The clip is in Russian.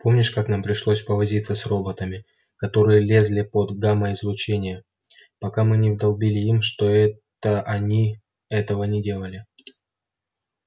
помнишь как нам пришлось повозиться с роботами которые лезли под гамма-излучение пока мы не вдолбили им чтобы они этого не делали